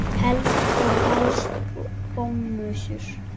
Og helst bomsur.